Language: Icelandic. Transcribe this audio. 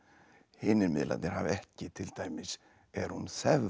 hinir miðlarnir hafa ekki til dæmis er hún